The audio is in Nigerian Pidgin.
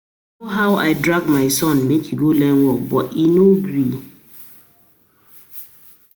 I know how I drag my son make he go learn work but he no gree